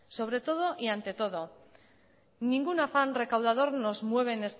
sobre todo y ante todo ningún afán recaudador nos mueve